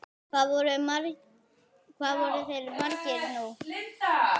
Hvað voru þeir margir nú?